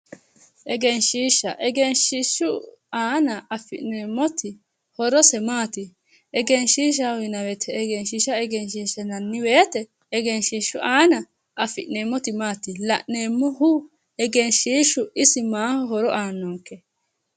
Egenshshiishsha, Egenshshiishshu aana afi'neemmoti horose maati? Egenshshiishsha yinayi wote Egenshshiishshu aana afi'neemmoti maati? la'neemmohu Egenshshiishshu isi maaho horo aannonke?